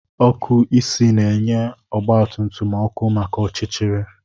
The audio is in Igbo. Ọkụ isi na-enye ọgba tum tum ọkụ maka ọchịchịrị